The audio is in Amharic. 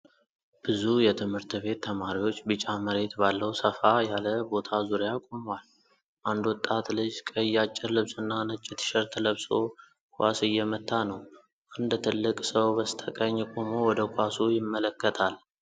ብዙ የትምህርት ቤት ተማሪዎች ቢጫ መሬት ባለው ሰፋ ያለ ቦታ ዙሪያ ቆመዋል። አንድ ወጣት ልጅ ቀይ አጭር ልብስና ነጭ ቲሸርት ለብሶ ኳስ እየመታ ነው፣ አንድ ትልቅ ሰው በስተቀኝ ቆሞ ወደ ኳሱ ይመለከታል።